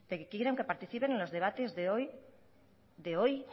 que quieren que participen en los debates de hoy que en